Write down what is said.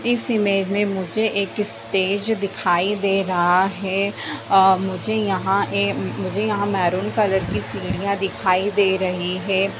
इस इमेज में मुझे एक स्टेज दिखाई दे रहा है आ मुझे यहां ए मुझे यहाँ मेरून कलर की सीढ़ियाँ दिखाई दे रही हैं।